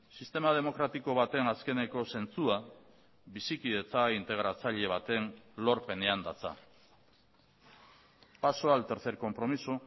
sistema demokratiko baten azkeneko zentzua bizikidetza integratzaile baten lorpenean datza paso al tercer compromiso